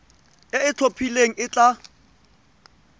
e e itlhophileng e tla